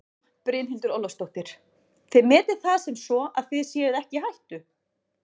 Brynhildur Ólafsdóttir: Þið metið það sem svo að þið séuð ekki í hættu?